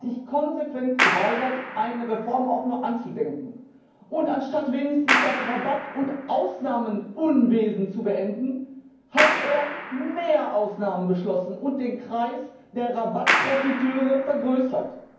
Er hat sich konsequent geweigert, eine Reform auch nur anzudenken. Und anstatt wenigstens das Rabatt und Ausnahmenunwesen zu beenden, hat er mehr Ausnahmen beschlossen und den Kreis der Rabattprofiteure vergrößert.